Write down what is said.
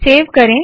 save करे